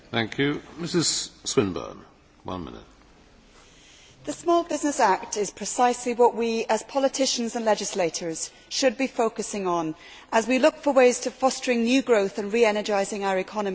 Mr President, the Small Business Act is precisely what we, as politicians and legislators, should be focusing on as we look for ways of fostering new growth and re energising our economies.